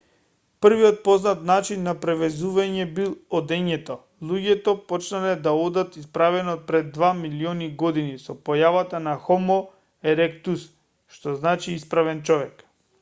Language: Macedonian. првиот познат начин на превезување бил одењето; луѓето почнале да одат исправено пред два милиони години со појавата на хомо еректус што значи исправен човек